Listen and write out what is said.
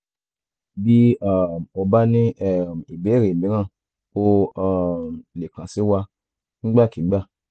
bí um o bá ní um ìbéèrè míràn o o um lè kàn sí wa nígbàkigbà